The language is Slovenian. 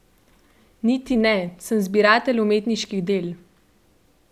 Niti ne, sem zbiratelj umetniških del.